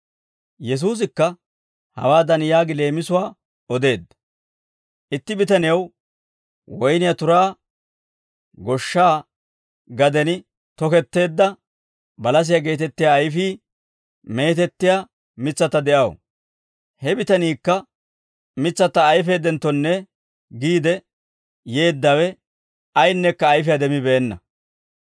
Yesuusikka hawaadan yaagi leemisuwaa odeedda, «Itti bitanew woyniyaa turaa goshshaa gaden toketteedda balasiyaa geetettiyaa ayfii meetettiyaa mitsatta de'aw; he bitaniikka mitsatta ayfaaddenttonne giide yeeddawe, ayinneekka ayfiyaa demmibeenna.